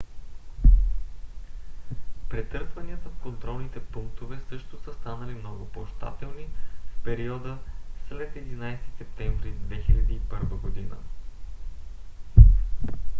претърсванията в контролните пунктове също са станали много по-щателни в периода след 11 септември 2001 г